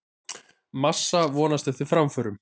Massa vonast eftir framförum